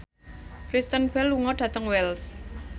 Kristen Bell lunga dhateng Wells